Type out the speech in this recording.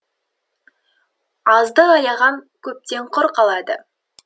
азды аяған көптен құр қалады